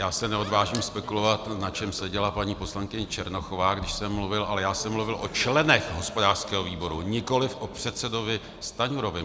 Já se neodvážím spekulovat, na čem seděla paní poslankyně Černochová, když jsem mluvil, ale já jsem mluvil o členech hospodářského výboru, nikoliv o předsedovi Stanjurovi.